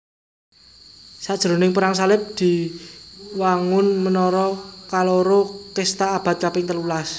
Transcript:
Sajroning Perang Salib diwangun menara kaloro Cesta abad kaping telulas